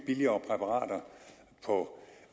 billigere præparater på